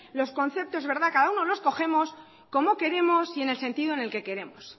los conceptos cada uno no escogemos como queremos y en el sentido en que queremos